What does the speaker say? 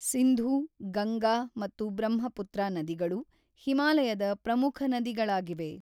ಸಿಂಧೂ, ಗಂಗಾ ಮತ್ತು ಬ್ರಹ್ಮಪುತ್ರ ನದಿಗಳು ಹಿಮಾಲಯದ ಪ್ರಮುಖ ನದಿಗಳಾಗಿವೆ.